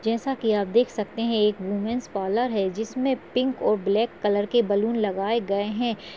जैसा की आप देख सकते हैं एक वूमन्स पार्लर है जिसमे पिंक और ब्लैक कलर के बलून लगाए हैं।